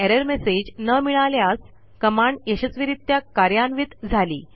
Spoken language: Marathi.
एरर मेसेज न मिळाल्यास कमांड यशस्वीरित्या कार्यान्वित झाली